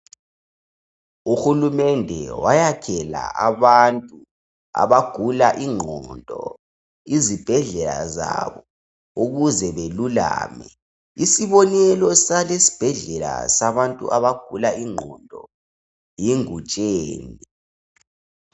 Uhulumende wayakhela abantu abagula igqondo izibhedlela zabo ukuze belulame. Isibonelo salesi sibhedlela sabantu abagula igqondo yiNgutsheni.